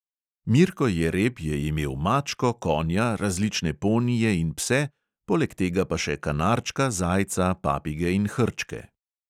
Mirko jereb je imel mačko, konja, različne ponije in pse, poleg tega pa še kanarčka, zajca, papige in hrčke.